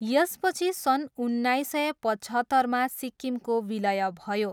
यसपछि सन् उन्नाइस सय पचहत्तरमा सिक्किमको विलय भयो।